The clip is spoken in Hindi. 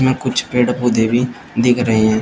यहां कुछ पेड़ पौधे भी दिख रहे है।